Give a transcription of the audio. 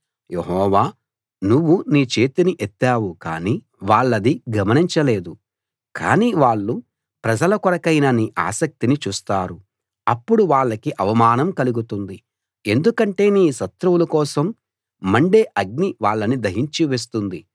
యెహోవా నువ్వు నీ చేతిని ఎత్తావు కానీ వాళ్ళది గమనించలేదు కానీ వాళ్ళు ప్రజల కొరకైన నీ ఆసక్తిని చూస్తారు అప్పుడు వాళ్లకి అవమానం కలుగుతుంది ఎందుకంటే నీ శత్రువుల కోసం మండే అగ్ని వాళ్ళని దహించి వేస్తుంది